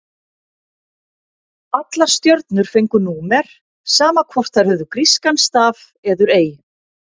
Allar stjörnur fengu númer, sama hvort þær höfðu grískan staf eður ei.